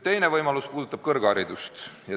Teine võimalus puudutab kõrgharidust.